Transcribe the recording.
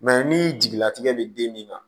ni jigilatigɛ bɛ den min na